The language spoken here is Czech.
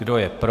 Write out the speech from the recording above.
Kdo je pro?